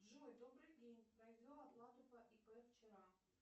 джой добрый день произвел оплату по ип вчера